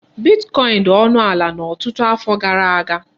Bitkọin dị ọnụ ala na ọtụtụ afọ gara aga.